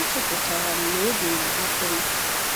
A chọpụtara m n'obi na-amapụm,